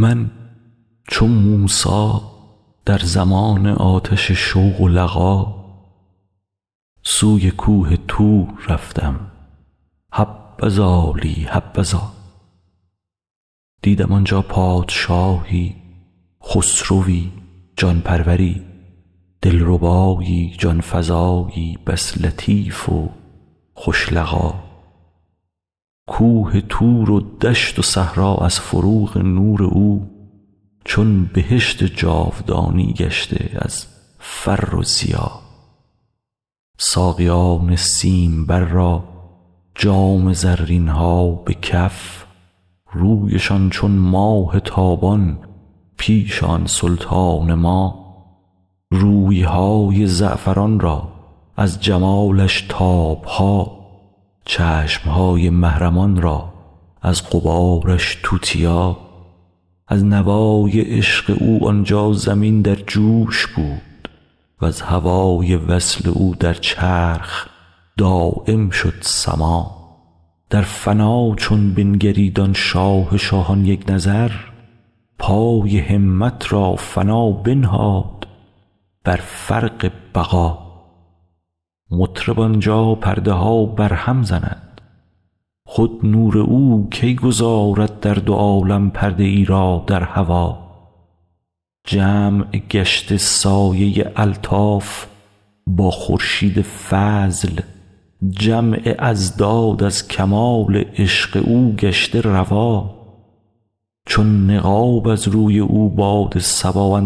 من چو موسی در زمان آتش شوق و لقا سوی کوه طور رفتم حبذا لی حبذا دیدم آن جا پادشاهی خسروی جان پروری دلربایی جان فزایی بس لطیف و خوش لقا کوه طور و دشت و صحرا از فروغ نور او چون بهشت جاودانی گشته از فر و ضیا ساقیان سیمبر را جام زرین ها به کف رویشان چون ماه تابان پیش آن سلطان ما روی های زعفران را از جمالش تاب ها چشم های محرمان را از غبارش توتیا از نوای عشق او آن جا زمین در جوش بود وز هوای وصل او در چرخ دایم شد سما در فنا چون بنگرید آن شاه شاهان یک نظر پای همت را فنا بنهاد بر فرق بقا مطرب آن جا پرده ها بر هم زند خود نور او کی گذارد در دو عالم پرده ای را در هوا جمع گشته سایه الطاف با خورشید فضل جمع اضداد از کمال عشق او گشته روا چون نقاب از روی او باد صبا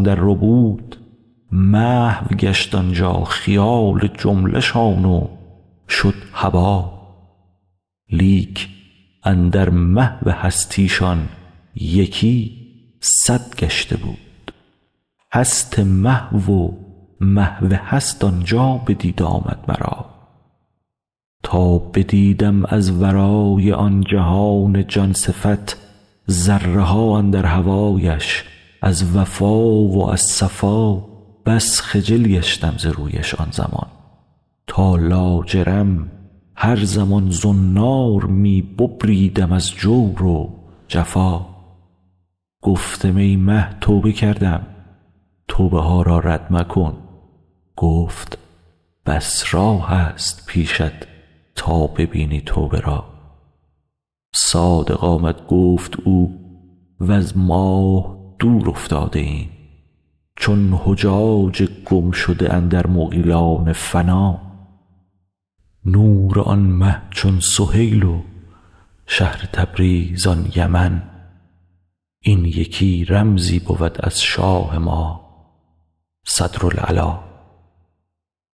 اندرربود محو گشت آن جا خیال جمله شان و شد هبا لیک اندر محو هستی شان یکی صد گشته بود هست محو و محو هست آن جا بدید آمد مرا تا بدیدم از ورای آن جهان جان صفت ذره ها اندر هوایش از وفا و از صفا بس خجل گشتم ز رویش آن زمان تا لاجرم هر زمان زنار می ببریدم از جور و جفا گفتم ای مه توبه کردم توبه ها را رد مکن گفت بس راهست پیشت تا ببینی توبه را صادق آمد گفت او وز ماه دور افتاده ام چون حجاج گمشده اندر مغیلان فنا نور آن مه چون سهیل و شهر تبریز آن یمن این یکی رمزی بود از شاه ما صدرالعلا